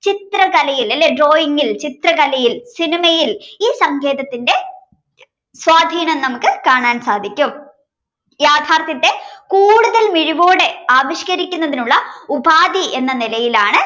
തലയിൽ അല്ലേ drawing ചിത്രകലയിൽ സിനിമയിൽ ഈ സങ്കേതത്തിന്റെ സ്വാധീനo നമുക്ക് കാണാൻ സാധിക്കും. യാഥാർത്ഥ്യത്തെ കൂടുതൽ മിഴിവോടെ ആവിഷ്കരിക്കുന്നതിനുള്ള ഉപാധി എന്ന നിലയിലാണ്